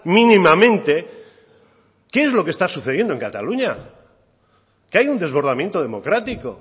mínimamente qué es lo que está sucediendo en cataluña que hay un desbordamiento democrático